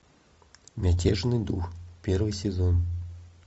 мятежный дух первый сезон